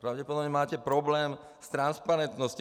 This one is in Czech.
Pravděpodobně máte problém s transparentností.